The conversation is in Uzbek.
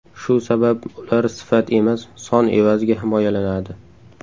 Shu sabab ular sifat emas, son evaziga himoyalanadi.